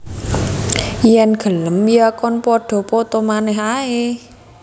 Yen gelem ya kon padha poto manèh ae